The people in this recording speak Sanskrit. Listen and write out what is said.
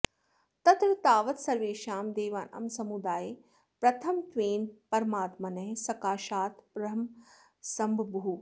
तत्र तावत् सर्वेषां देवानां समुदाये प्रथमत्वेन परमात्मनः सकाशात् ब्रह्मा सम्बभूव